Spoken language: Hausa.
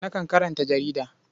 Nakan karanta jarida.